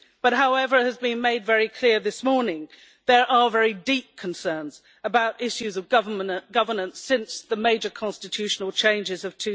However, as has been made very clear this morning, there are very deep concerns about issues of governance since the major constitutional changes of